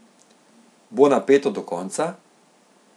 Bo napeto do konca?